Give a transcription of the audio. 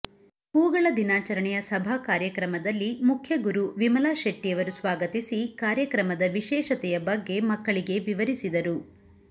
ಹೂಗಳ ದಿನಾಚರಣೆಯ ಸಭಾ ಕಾರ್ಯಕ್ರಮದಲ್ಲಿ ಮುಖ್ಯಗುರು ವಿಮಲಾ ಶೆಟ್ಟಿಯವರು ಸ್ವಾಗತಿಸಿ ಕಾರ್ಯಕ್ರಮದ ವಿಶೇಷತೆಯ ಬಗ್ಗೆ ಮಕ್ಕಳಿಗೆ ವಿವರಿಸಿದರು